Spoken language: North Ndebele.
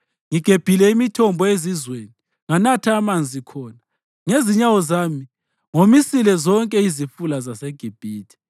Ngigebhile imithombo ezizweni nganatha amanzi khona. Ngezinyawo zami ngomisile zonke izifula zaseGibhithe.’